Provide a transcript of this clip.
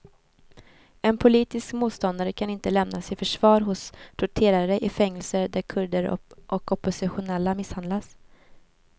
En politisk motståndare kan inte lämnas i förvar hos torterare i fängelser där kurder och oppositionella misshandlas.